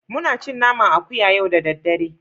Muna cin naman akuya yau da daddare